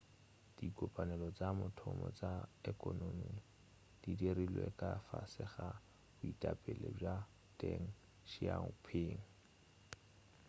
dikopanelo tša mathomo tša ekonomi di dirilwe ka fase ga boetapele bja deng xiaoping